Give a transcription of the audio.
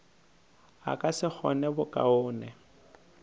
a ka se kgone bokaone